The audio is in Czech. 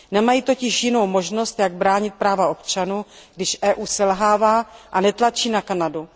Nemá totiž jinou možnost, jak bránit práva občanů, když EU selhává a netlačí na Kanadu.